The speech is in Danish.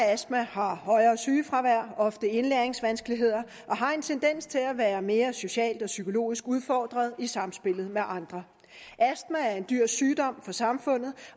astma har højere sygefravær ofte indlæringsvanskeligheder og har en tendens til at være mere socialt og psykologisk udfordret i samspillet med andre astma er en dyr sygdom for samfundet